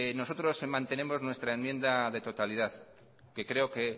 nosotros mantenemos nuestra enmienda de totalidad que creo que